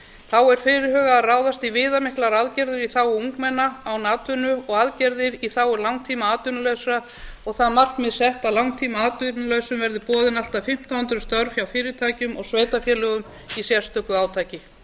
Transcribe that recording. þá er fyrirhugað að ráðast í viðamiklar aðgerðir í þágu ungmenna án atvinnu og aðgerðir í þágu langtímaatvinnulausra og það markmið sett á langtímaatvinnulausum verði boðin allt að fimmtán hundruð störf hjá fyrirtækjum og sveitarfélögum í sérstöku átaki